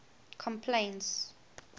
complaints